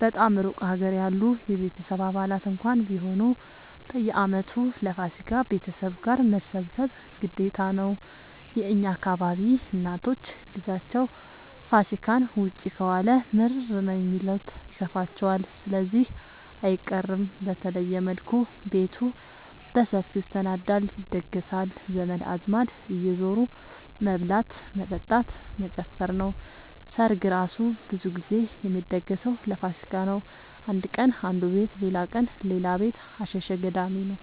በጣም እሩቅ ሀገር ያሉ የቤተሰብ አባላት እንኳን ቢሆኑ በየአመቱ ለፋሲካ ቤተሰብ ጋር መሰብሰብ ግዴታ ነው። የእኛ አካባቢ እናቶች ልጃቸው ፋሲካን ውጪ ከዋለ ምርር ነው የሚሉት ይከፋቸዋል ስለዚህ አይቀርም። በተለየ መልኩ ቤቱ በሰፊው ይሰናዳል(ይደገሳል) ዘመድ አዝማድ እየዙሩ መብላት መጠጣት መጨፈር ነው። ሰርግ እራሱ ብዙ ግዜ የሚደገሰው ለፋሲካ ነው። አንድ ቀን አነዱ ቤት ሌላቀን ሌላ ቤት አሸሸ ገዳሜ ነው።